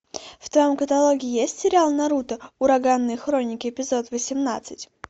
в твоем каталоге есть сериал наруто ураганные хроники эпизод восемнадцать